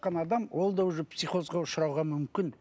адам ол да уже психозға ұшырауға мүмкін